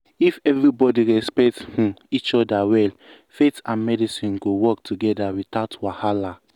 if everybody respect um each other well faith and medicine go work together without wahala.